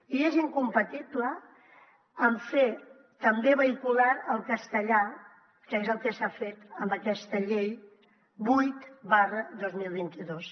i és incompatible amb fer també vehicular el castellà que és el que s’ha fet amb aquesta llei vuit dos mil vint dos